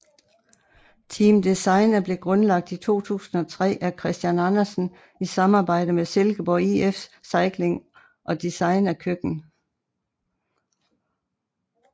Team Designa blev grundlagt i 2003 af Christian Andersen i samarbejde med Silkeborg IF Cykling og Designa Køkken